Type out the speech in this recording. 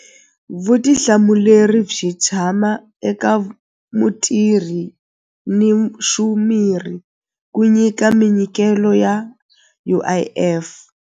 Vutihlamuleri byi tshama eka mutirhi ni ku nyika minyikelo ya U_I_F.